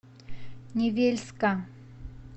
невельска